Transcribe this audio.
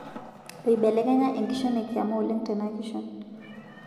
Eibelekenya enkishon ekiama oleng' tena kishon